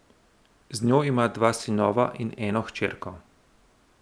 Z njo ima dva sinova in eno hčerko.